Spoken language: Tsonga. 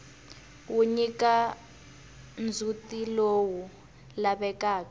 wu nyika ndzhutilowu lavekaka